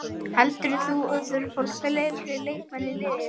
Heldurðu að þú þurfir að fá fleiri leikmenn til liðsins?